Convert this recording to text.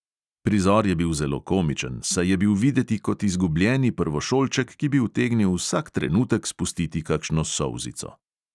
Prizor je bil zelo komičen, saj je bil videti kot izgubljeni prvošolček, ki bi utegnil vsak trenutek spustiti kakšno solzico.